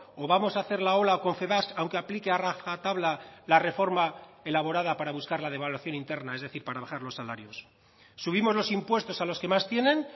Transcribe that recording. o vamos a hacer la ola a confebask aunque aplica a rajatabla la reforma elaborada para buscar la devaluación interna es decir para bajar los salarios subimos los impuestos a los que más tienen